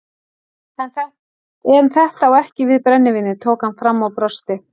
En þetta á ekki við brennivínið tók hann fram og brosti.